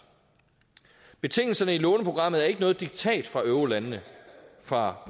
betingelserne i låneprogrammet er ikke noget diktat fra eurolandene fra